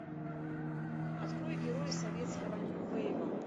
открой герои советского нью вейва